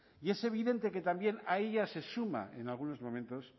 y es evidente que también a ella se suma en algunos momentos